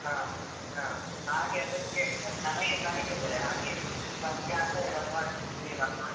ಹ ಹ ಹಾಗೆ ಅದಕ್ಕೆ ಜನಗೆ ಕಡಿಮೆ ಇದ್ದಾರೆ ಹಾಗೆ ನೀನ್ ಬರ್ತೀಯ ಅಂತ ಹೇಳುವ ಅಂತ ಮಾಡಿದ್ದು ಕೇಳುವ ಅಂತ ಮಾಡಿದ್ದು.